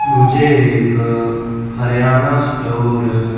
मुझे एक हरियाणा स्टोर --